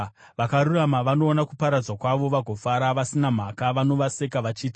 “Vakarurama vanoona kuparadzwa kwavo vagofara, vasina mhaka vanovaseka vachiti,